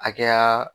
Hakɛya